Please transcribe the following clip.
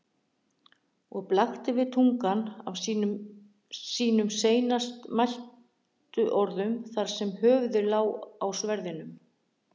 Og blakti við tungan af sínum seinast mæltu orðum þar sem höfuðið lá í sverðinum.